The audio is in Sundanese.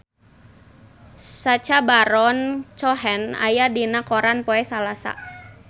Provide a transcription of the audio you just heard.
Sacha Baron Cohen aya dina koran poe Salasa